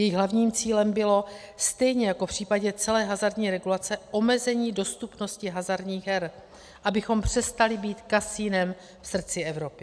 Jejich hlavním cílem bylo stejně jako v případě celé hazardní regulace omezení dostupnosti hazardních her, abychom přestali být kasinem v srdci Evropy.